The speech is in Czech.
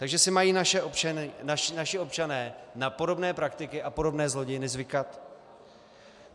Takže si mají naši občané na podobné praktiky a podobné zlodějny zvykat?